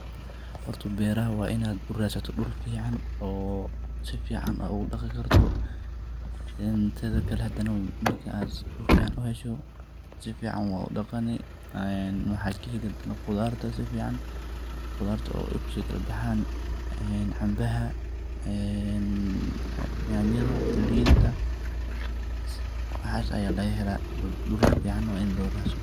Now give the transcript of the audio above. Horta beraha waa in ad uraasato dhul ficaan oo si fican ogu dhaqi karto in teda kale hadana marka ad dhul fican uhesho si fican wad udhaqani een waxa kaheli qudar si fican, qudarta oo ay usi kala baxaan een cambaha, een nyaanyada linta waxaas aya laga hela dhul fican waa ini loo tuso